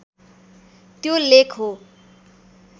त्यो लेख हो